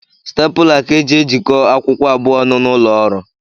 Stapụla ka e ji ejiko akwụkwọ abụọ ọnụ n’ụlọọrụ